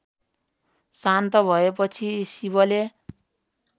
शान्त भएपछि शिवले